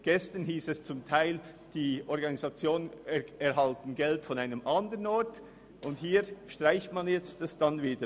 Gestern wurde teilweise begründet, die Organisationen würden Geld von einer anderen Stelle erhalten, und hier streicht man dieses nun wieder.